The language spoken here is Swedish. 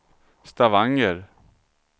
Stavanger